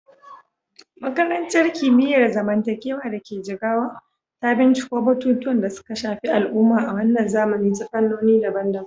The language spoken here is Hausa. Makarantar Kimiyyar Zamantakewa da ke Jigawa ta binciko batutuwan da suka shafi al'umma a wannan zamani ta fannoni daban-daban.